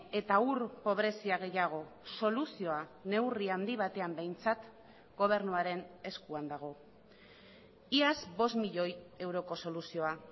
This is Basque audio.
eta ur pobrezia gehiago soluzioa neurri handi batean behintzat gobernuaren eskuan dago iaz bost milioi euroko soluzioa